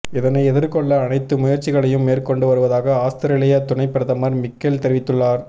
இதனை எதிர்கொள்ள அனைத்து முயற்சிகளையும் மேற்கொண்டு வருவதாகப் ஆஸ்திரேலிய துணைப் பிரதமர் மிக்கேல் தெரிவித்துள்ளார்